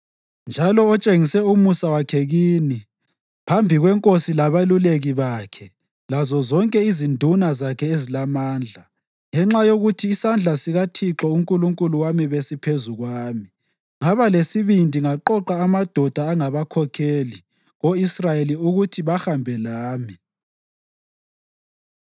njalo otshengise umusa wakhe kini phambi kwenkosi labeluleki bakhe lazozonke izinduna zakhe ezilamandla. Ngenxa yokuthi isandla sikaThixo uNkulunkulu wami besiphezu kwami, ngaba lesibindi ngaqoqa amadoda angabakhokheli ko-Israyeli ukuthi bahambe lami.